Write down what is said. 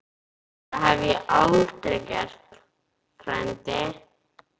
Það hef ég aldrei gert, frændi